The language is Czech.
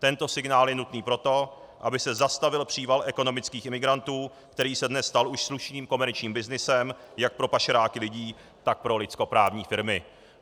Tento signál je nutný proto, aby se zastavil příval ekonomických imigrantů, který se dnes stal už slušným komerčním byznysem jak pro pašeráky lidí, tak pro lidskoprávní firmy.